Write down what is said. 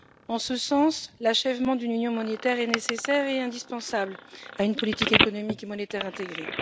En ce sens, l'achèvement d'une union monétaire est nécessaire et indispensable à une politique économique et monétaire intégrée.